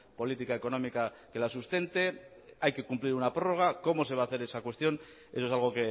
política económica que la sustente hay que cumplir una prórroga cómo se va hacer esa cuestión eso es algo